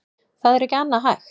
Það er ekki annað hægt